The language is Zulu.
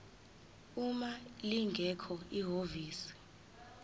uma lingekho ihhovisi